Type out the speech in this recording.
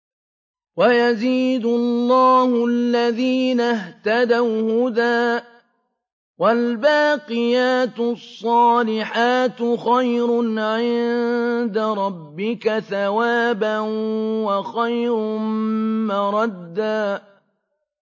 وَيَزِيدُ اللَّهُ الَّذِينَ اهْتَدَوْا هُدًى ۗ وَالْبَاقِيَاتُ الصَّالِحَاتُ خَيْرٌ عِندَ رَبِّكَ ثَوَابًا وَخَيْرٌ مَّرَدًّا